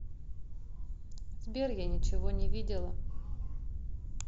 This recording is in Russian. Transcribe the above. сбер я ничего не видела